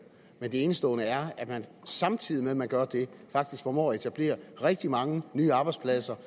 men det er enestående at man samtidig med at man gør det faktisk formår at etablere rigtig mange nye arbejdspladser